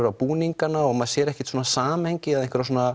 á búningana og maður sér ekkert samhengi eða